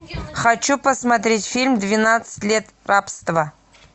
хочу посмотреть фильм двенадцать лет рабства